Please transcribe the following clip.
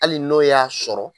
ali n'o y'a sɔrɔ